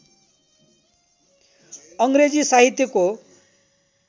अङ्ग्रेजी साहित्यको